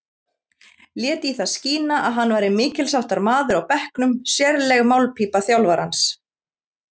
Lét í það skína að hann væri mikilsháttar maður á bekknum, sérleg málpípa þjálfarans.